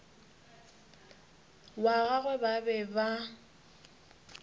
wa gagwe ba be ba